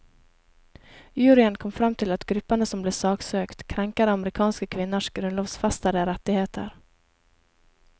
Juryen kom frem til at gruppene som ble saksøkt, krenker amerikanske kvinners grunnlovsfestede rettigheter.